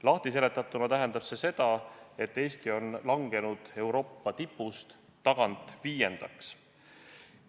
Lahtiseletatuna tähendab see seda, et Eesti on langenud Euroopa tipust tagant viiendaks.